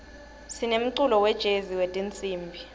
sinemculo wejezi wetinsimbi